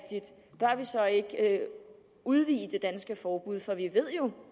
der er vi så ikke udvide det danske forbud for vi ved